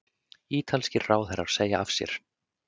Ítalskir ráðherrar segja af sér